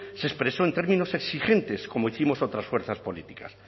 se expresó en términos exigentes como hicimos otras fuerzas políticas